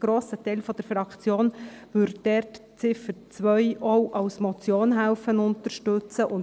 Ein grosser Teil der Fraktion würde die Ziffer 2 auch als Motion unterstützen helfen.